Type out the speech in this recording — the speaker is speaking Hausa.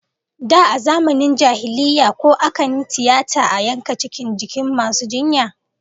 Da a zamanin jahiliyya, ko akan yi tiyata a yanka cikin jikin masu jinya?